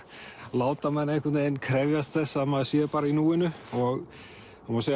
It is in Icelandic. láta mann einhvern veginn krefjast þess að maður sé bara í núinu og það má segja